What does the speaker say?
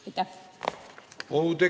Aitäh!